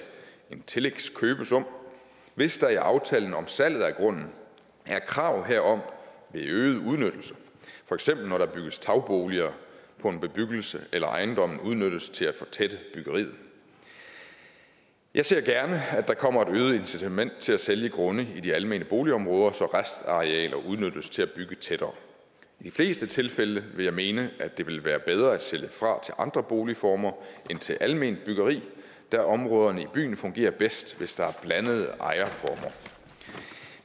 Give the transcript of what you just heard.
en tillægskøbesum hvis der i aftalen om salget af grunden er krav herom ved øget udnyttelse for eksempel når der bygges tagboliger på en bebyggelse eller ejendommen udnyttes til at fortætte byggeriet jeg ser gerne at der kommer et øget incitament til at sælge grunde i de almene boligområder så restarealer udnyttes til at bygge tættere i de fleste tilfælde vil jeg mene at det vil være bedre at sælge fra til andre boligformer end til alment byggeri da områderne i byen fungerer bedst hvis der er blandede ejerformer